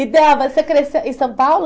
E, Débora, você cresceu em São Paulo?